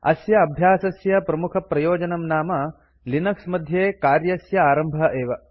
अस्य अभ्यासस्य प्रमुखप्रयोजनं नाम लिनक्स मध्ये कार्यस्य आरम्भः एव